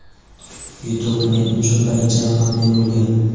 yutuq men uchun birinchi raqamli bo‘lgan.